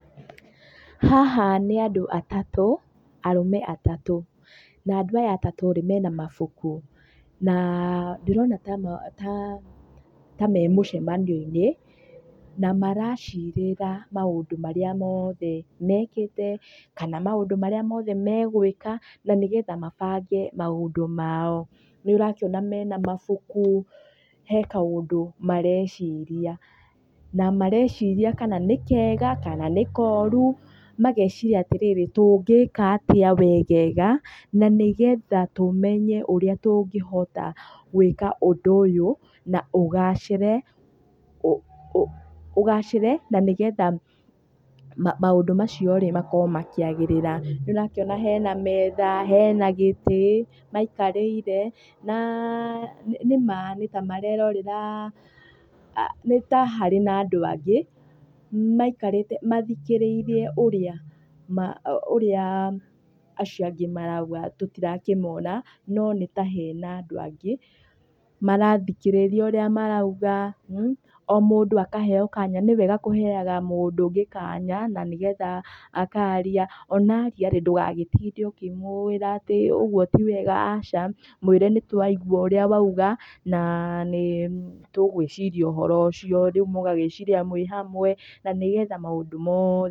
Haha nĩ andũ atatũ, arũme atatũ na andũ aya atatũ-rĩ mena mabuku. Na ndĩrona taa ta memũcemanio-inĩ , na maracirĩra maũndũ marĩa moothe mekĩte, kana maũndũ marĩa mothe megwĩka, na nĩgetha mabange mandũ mao. Nĩũrakĩona mena mabuku, hena kaũndũ mareciria, na mareciria kana nĩ kega, kana nĩ koru, mageciria atĩrĩrĩ, tũngĩka atĩa wegega, na nĩgetha tũmnye ũrĩa tũngĩhota gwĩka ũndũ ũyũ na ũgacĩre, ũgacĩre na nĩgetha maũndũ macio-rĩ makorwo makĩagĩrĩra. Nĩũrakĩona hena metha, hena gĩtĩ maikarĩire, na nĩma nĩtamarerorera nĩtaharĩ na andũ angĩ, maikarĩte mathikĩrĩirie ũrĩa, ũrĩa acio angĩ marauga tũtirakĩmona, no nĩtahena andũ angĩ, marathikĩrĩria ũrĩa marauga, o mũndũ akaheo kanya, nĩwega kũheaga mũndũ ũngĩ kanya na nĩgetha akaria, ona aria-rĩ, ndũgagĩtinde ũkĩmwĩra atĩ ũguo ti wega, aca. Mwĩre nĩtũaigua ũrĩa wauga, na nĩtũgwĩciria ũhoro ũcio. Rĩu mũgagĩciria mwĩ hamwe na nĩgetha maũndũ moothe